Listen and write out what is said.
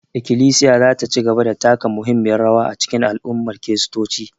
Ikilisiya za ta ci gaba da taka muhimmiyar rawa a cikin al'ummar kiristoci